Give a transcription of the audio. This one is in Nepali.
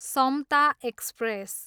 समता एक्सप्रेस